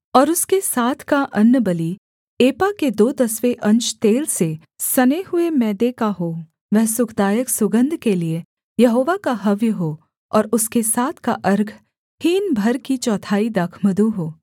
और उसके साथ का अन्नबलि एपा के दो दसवें अंश तेल से सने हुए मैदे का हो वह सुखदायक सुगन्ध के लिये यहोवा का हव्य हो और उसके साथ का अर्घ हीन भर की चौथाई दाखमधु हो